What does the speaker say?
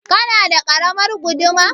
Kana da ƙaramar guduma?